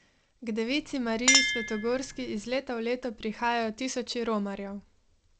K Devici Mariji Svetogorski iz leta v leto prihajajo tisoči romarjev.